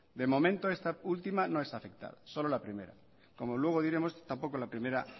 de momento esta última no nos afecta solo la primera como luego diremos tampoco la primera